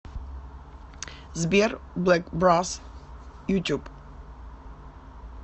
сбер блэк брос ютуб